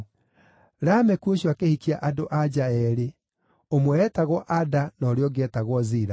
Lameku ũcio akĩhikia andũ-a-nja eerĩ, ũmwe eetagwo Ada na ũrĩa ũngĩ eetagwo Zila.